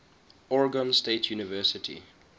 oregon state university